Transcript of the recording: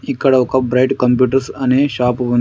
ఇక్కడ ఒక Bright Computers అనే షాపు ఉన్--